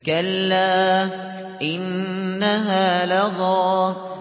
كَلَّا ۖ إِنَّهَا لَظَىٰ